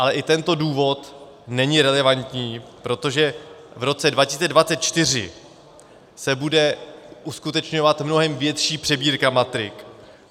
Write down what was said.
Ale i tento důvod není relevantní, protože v roce 2024 se bude uskutečňovat mnohem větší přebírka matrik.